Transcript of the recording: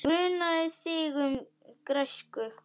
Ég gruna þig um græsku.